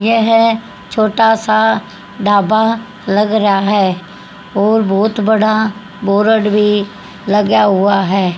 यह छोटा सा ढाबा लग रहा है और बहुत बड़ा बोर्ड भी लगा हुआ है।